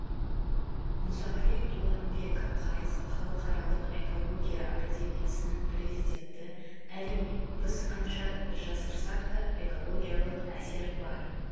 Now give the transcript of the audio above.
мұсағали дуамбеков халықаралық экология академиясының президенті әрине біз қанша жасырсақ та экологиялық әсер бар